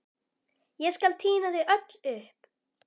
Ég skal tína þau öll upp.